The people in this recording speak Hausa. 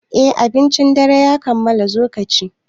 Eh, abincin dare ya kammala, zo kaci